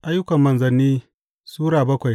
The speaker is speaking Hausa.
Ayyukan Manzanni Sura bakwai